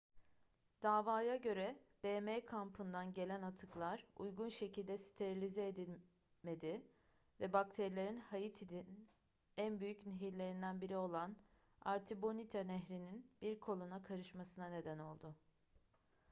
davaya göre bm kampından gelen atıklar uygun şekilde sterilize edilmedi ve bakterilerin haiti'nin en büyük nehirlerinden biri olan artibonite nehri'nin bir koluna karışmasına neden oldu